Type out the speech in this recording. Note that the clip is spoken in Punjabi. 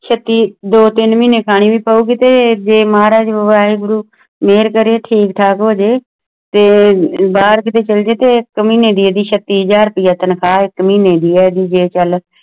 ਚੱਟੀ ਦੋ ਤਿੰਨ ਮਹੀਨੇ ਖਾਣੀ ਪਵੇਗੀ ਤੇ ਮਹਾਰਾਜ ਵਾਗਿਗੁਰੂ ਮੇਹਰ ਕਰੁ ਤੁਹਾਡੇ ਤੇ ਤੇ ਬਾਹਰ ਕਹਿ ਛੱਲਾ ਜਵਾਈ ਤੇ ਛੱਤੀ ਹਾਜ਼ਰ ਰੁਪਯਾ ਤਾਨਖੁਵਾ ਹੈ ਅਹਿ ਇੱਡੀ ਇਕ ਮਹੀਨੇ ਦੀ ਹੈ